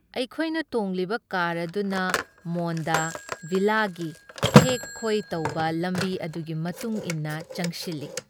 ꯑꯩꯈꯣꯏꯅ ꯇꯣꯡꯂꯤꯕ ꯀꯥꯔ ꯑꯗꯨꯅ ꯃꯣꯟꯗ ꯚꯤꯂꯥꯒꯤ ꯊꯦꯛ ꯈꯣꯏ ꯇꯧꯕ ꯂꯝꯕꯤ ꯑꯗꯨꯒꯤ ꯃꯇꯨꯡꯏꯟꯅ ꯆꯪꯁꯤꯜꯂꯤ ꯫